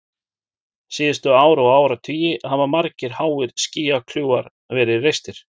Síðustu ár og áratugi hafa margir háir skýjakljúfar verið reistir.